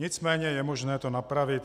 Nicméně je možné to napravit.